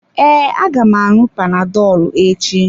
Ee, aga m aṅụ panadolu echi.